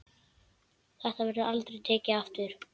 Þetta verður aldrei tekið aftur.